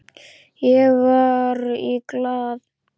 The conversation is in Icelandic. Ég var í Glað.